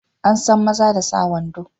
An san maza da sa wando.